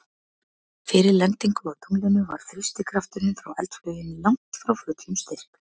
Fyrir lendingu á tunglinu var þrýstikrafturinn frá eldflauginni langt frá fullum styrk.